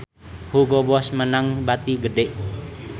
Hugo Boss meunang bati gede